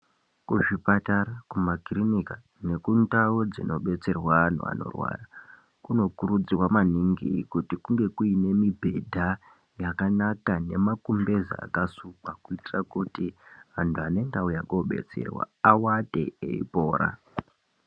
Kuzvipatara kumakiriniki nekundau dzinodetserwa antu anorwara kunokurudzirwa maningi kuti kuine mibhedha nemakumbeza akasukwa kuitira kuti antu anenge auya kodetserwa aate apore.